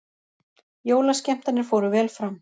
Jólaskemmtanir fóru vel fram